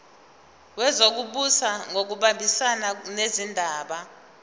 wezokubusa ngokubambisana nezindaba